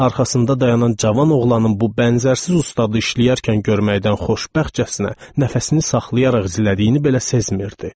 Arxasında dayanan cavan oğlanın bu bənzərsiz ustadı işləyərkən görməkdən xoşbəxtcəsinə nəfəsini saxlayaraq izlədiyini belə sezmirdi.